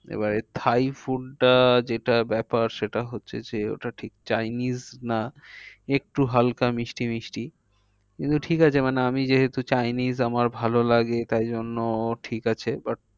এবারে thai food টা যেটা ব্যাপার সেটা হচ্ছে যে ওটা ঠিক চাইনিজ না একটু হালকা মিষ্টি মিষ্টি কিন্তু ঠিক আছে আমি যেহেতু চাইনিজ আমার ভালো লাগে তাই জন্য ঠিক আছে but